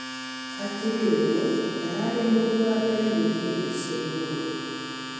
Hakĩrĩ ũgũo, ndararĩ mũndũ wa mbere gũthĩĩ thĩĩ cĩa ĩgũrũ